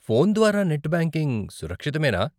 Phone ద్వారా net banking సురక్షితమేనా?